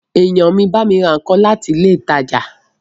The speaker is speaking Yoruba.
Èèyàn mi bámi ra nǹkan láti ilé ìtajà